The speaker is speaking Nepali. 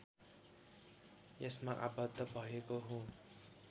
यसमा आबद्ध भएको हुँ